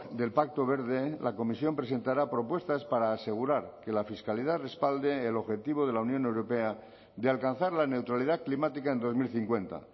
del pacto verde la comisión presentará propuestas para asegurar que la fiscalidad respalde el objetivo de la unión europea de alcanzar la neutralidad climática en dos mil cincuenta